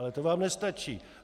Ale to vám nestačí.